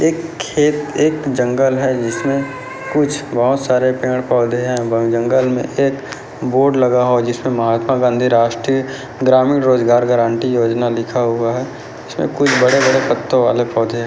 एक खेत एक जंगल है जिसमे कुछ बहोत सारे पेड़-पौधे है जंगल में एक बोर्ड लगा हुआ जिसपे महात्मा गाँधी राष्ट्रिय ग्रामीण रोजगार गारंटी योजना लिखा हुआ है इसमे कुछ बड़े-बड़े पत्तों वाले पौधे है।